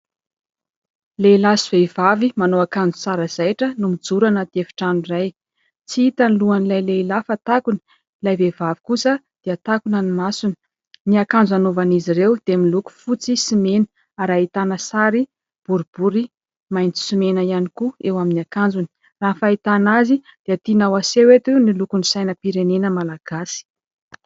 Lehilahy sy vehivavy manao akanjo tsara zaitra no mijoro anaty efitrano iray, tsy hita ny lohan'ilay lehilahy fa takona, ilay vehivavy kosa dia takonana ny masony, ny akanjo hanaovan'izy ireo dia miloko fotsy sy mena ary ahitana sary boribory maitso sy mena ihany koa eo amin'ny akanjony, raha ny fahitana azy dia tiana aseho eto hoe : ny lokon'ny sainam-pirenena Malagasy.